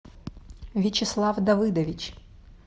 вячеслав давыдович